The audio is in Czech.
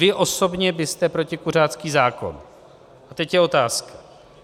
Vy osobně byste protikuřácký zákon - a teď je otázka.